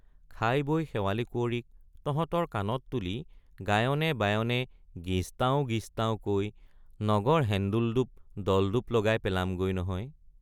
খাই বৈ শেৱালি কুঁৱৰীক তহঁতৰ কানত তুলি গায়নে বায়নে গিজ্‌তাঁও গিজ্‌তাঁও কৈ নগৰ হেন্দোল দোপ দলদোপ্‌ লগাই পেলাম গৈ নহয়।